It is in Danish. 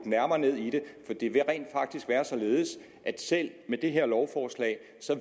nærmere ned i det for det vil rent faktisk være således at selv med det her lovforslag